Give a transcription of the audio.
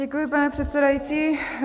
Děkuji, pane předsedající.